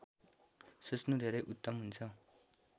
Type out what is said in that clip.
सोच्नु धेरै उत्तम हुन्छ